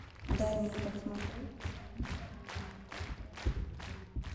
дай мне посмотреть роман с камнем ультра эйч ди